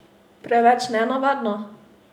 Preveč nenavadno?